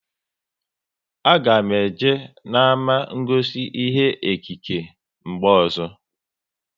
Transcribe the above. A ga m eje n'ama ngosi ihe ekike mgbe ọzọ